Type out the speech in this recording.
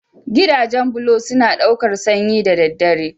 Gidajen bulo suna ɗaukar sanyi da daddare.